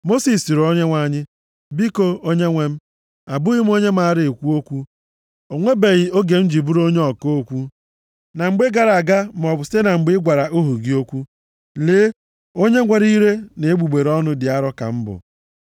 Mosis sịrị Onyenwe anyị, “Biko Onyenwe m, abụghị m onye mara ekwu okwu. Ọ nwebeghị oge m ji bụrụ onye ọka okwu, na mgbe gara aga maọbụ site na mgbe ị gwara ohu gị okwu. Lee, onye nwere ire na egbugbere ọnụ dị arọ ka m bụ.”